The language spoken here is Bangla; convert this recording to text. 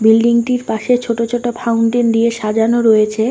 বিল্ডিং -টির পাশে ছোট ছোট ফাউন্টেন দিয়ে সাজানো রয়েছে।